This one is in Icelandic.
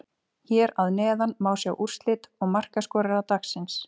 Hér að neðan má sjá úrslit og markaskorara dagsins: